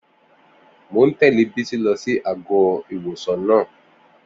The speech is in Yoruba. Mon tẹ̀lé Bisi lọ sí àgọ́-ìwòsàn náà